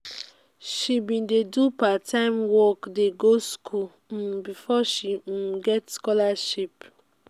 she bin dey do part-time work dey go skool um befor she um get um scholarship.